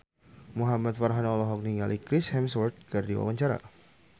Muhamad Farhan olohok ningali Chris Hemsworth keur diwawancara